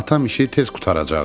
Atam işi tez qurtaracaqdı.